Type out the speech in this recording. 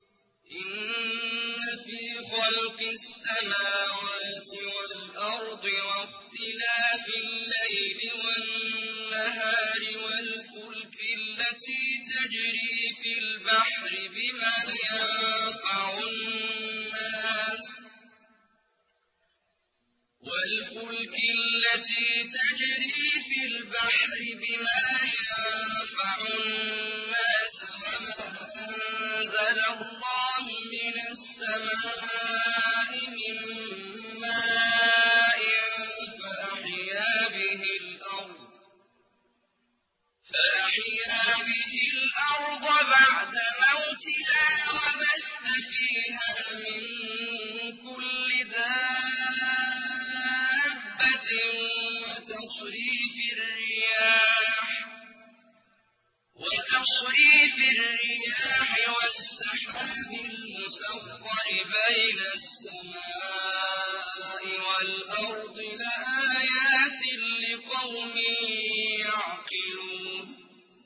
إِنَّ فِي خَلْقِ السَّمَاوَاتِ وَالْأَرْضِ وَاخْتِلَافِ اللَّيْلِ وَالنَّهَارِ وَالْفُلْكِ الَّتِي تَجْرِي فِي الْبَحْرِ بِمَا يَنفَعُ النَّاسَ وَمَا أَنزَلَ اللَّهُ مِنَ السَّمَاءِ مِن مَّاءٍ فَأَحْيَا بِهِ الْأَرْضَ بَعْدَ مَوْتِهَا وَبَثَّ فِيهَا مِن كُلِّ دَابَّةٍ وَتَصْرِيفِ الرِّيَاحِ وَالسَّحَابِ الْمُسَخَّرِ بَيْنَ السَّمَاءِ وَالْأَرْضِ لَآيَاتٍ لِّقَوْمٍ يَعْقِلُونَ